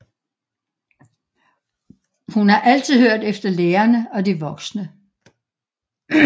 Hun har altid hørt efter lærerne og de voksne